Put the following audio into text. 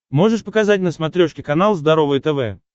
можешь показать на смотрешке канал здоровое тв